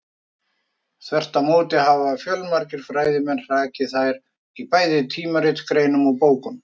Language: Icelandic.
Þvert á móti hafa fjölmargir fræðimenn hrakið þær í bæði tímaritsgreinum og bókum.